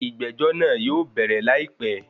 Ìgbẹ́jọ́ náà yóò bẹ̀rẹ̀ láìpé.